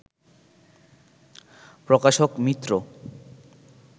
প্রকাশক মিত্র